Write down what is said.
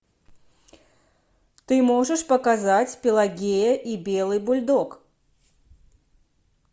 ты можешь показать пелагея и белый бульдог